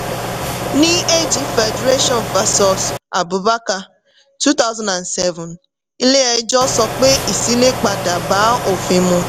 ní ag federation versus abubakar two thousand and seven ilé-ẹjọ́ sọ pé ìṣílépadà bá òfin mu.